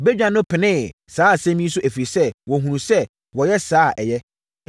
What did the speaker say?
Badwa no penee saa asɛm yi so ɛfiri sɛ, wɔhunuu sɛ, wɔyɛ saa a, ɛyɛ.